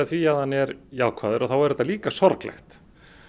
því að hann er jákvæður þá er þetta líka sorglegt